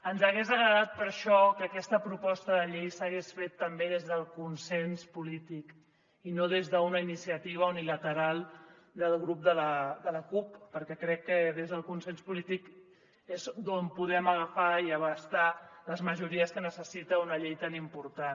ens hagués agradat per això que aquesta proposta de llei s’hagués fet també des del consens polític i no des d’una iniciativa unilateral del grup de la cup perquè crec que des del consens polític és d’on podem agafar i abastar les majories que necessita una llei tan important